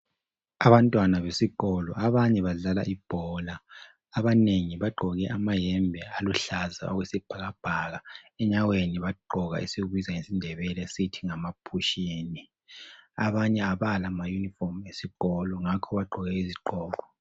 Abantwana besikolo abanye badlala ibhola abanengi bagqoke amayembe aluhlaza okwesibhakabhaka enyaweni bagqoka esikubiza ngesindebele sithi ngamaphushini. Abanye abala mayunifomu esikolo ngakho bagqoke izigqoko.